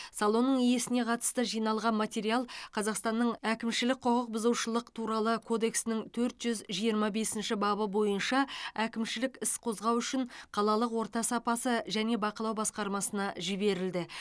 салонның иесіне қатысты жиналған материал қазақстанның әкімшілік құқық бұзушылық туралы кодексінің төрт жүз жиырма бесінші бабы бойынша әкімшілік іс қозғау үшін қалалық орта сапасы және бақылау басқармасына жіберілді